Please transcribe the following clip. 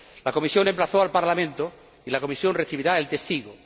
La Comisión emplazó al Parlamento y la Comisión recibirá el testigo.